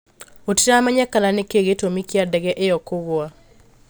Gũtiramenyekana nĩkĩĩ gĩtũmi kĩa ndege ĩyo kũgwa